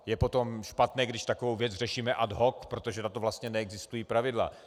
Je potom špatné, když takovou věc řešíme ad hoc, protože na to vlastně neexistují pravidla.